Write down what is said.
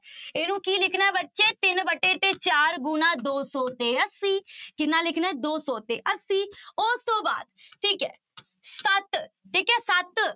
ਇਹਨੂੰ ਕੀ ਲਿਖਣਾ ਹੈ ਬੱਚੇ ਤਿੰਨ ਵਟੇ ਤੇ ਚਾਰ ਗੁਣਾ ਦੋ ਸੌ ਤੇ ਅੱਸੀ ਕਿੰਨਾ ਲਿਖਣਾ ਹੈ ਦੋ ਸੌ ਤੇ ਅੱਸੀ, ਉਸ ਤੋਂ ਬਾਅਦ ਠੀਕ ਹੈ ਸੱਤ ਠੀਕ ਹੈ ਸੱਤ